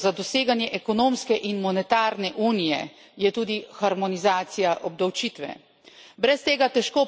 Eden izmed pogojev za doseganje ekonomske in monetarne unije je tudi harmonizacija obdavčitve.